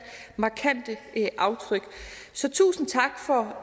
markante aftryk så tusind tak for